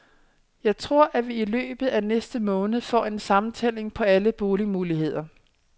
Jeg tror, at vi i løbet af næste måned får en sammentælling på alle boligmuligheder.